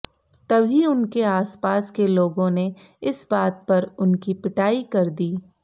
तभी उनके आसपास के लोगों ने इस बात पर उनकी पिटाई कर दी